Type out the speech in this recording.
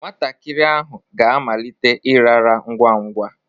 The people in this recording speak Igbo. Nwatakịrị ahụ ga-amalite ịrara ngwa ngwa.